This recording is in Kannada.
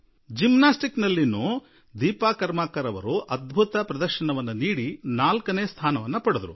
ಜಿಮ್ನಾಸ್ಟಿಕ್ ನಲ್ಲಿಯೂ ದೀಪಾ ಕರ್ಮಾಕರ್ ಕೂಡಾ ಅದ್ಭುತ ನೈಪುಣ್ಯ ತೋರಿದರು ನಾಲ್ಕನೇ ಸ್ಥಾನದಲ್ಲಿ ಉಳಿದರು